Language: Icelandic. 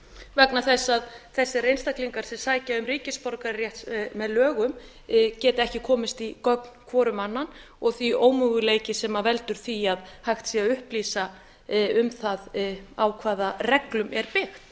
vegna þess að þessir einstaklingar sem sækja um ríkisborgararétt með lögum geta ekki komist í gögn hvor um annan því ómöguleiki sem veldur því að hægt sé að upplýsa um það á hvaða reglum er byggt